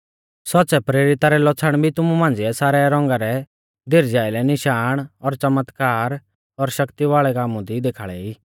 सौच़्च़ै प्रेरिता रै लौछ़ण भी तुमु मांझ़िऐ सारै रौंगा रै धीरजा आइलै निशाण और च़मत्कार और शक्ति वाल़ै कामु दी देखाल़ै ई